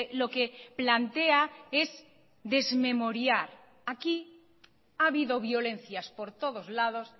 lo que plantea es desmemoriar aquí ha habido violencias por todos lados